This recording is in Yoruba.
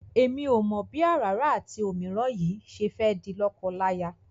Èmi ò mọ̀ bí àràrá àti òmíràn yìí ṣe fẹ́ di lọ́kọláya.